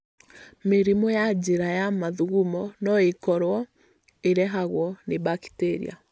Mĩrimũ ya njĩra ya mathugumo no ĩkorwo ĩrehagwo nĩ bakiteria.